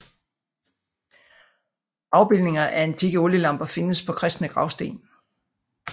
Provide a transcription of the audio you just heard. Afbildninger af antikke olielamper findes på kristne gravsten